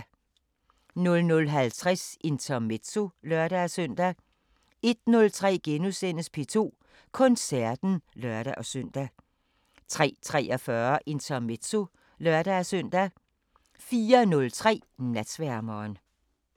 00:50: Intermezzo (lør-søn) 01:03: P2 Koncerten *(lør-søn) 03:43: Intermezzo (lør-søn) 04:03: Natsværmeren